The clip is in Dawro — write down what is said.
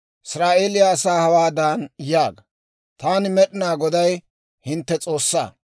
«Israa'eeliyaa asaa hawaadan yaaga; ‹Taani, Med'inaa Goday, hintte S'oossaa.